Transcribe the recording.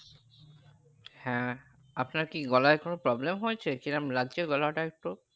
হ্যাঁ আপনার কি গলায় কোনো problem হয়েছে কি রকম লাগছে গলাটা একটু